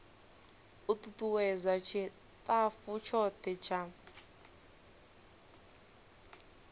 u tutuwedza tshitafu tshothe tsha